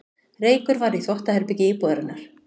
Reykur var í þvottaherbergi íbúðarinnar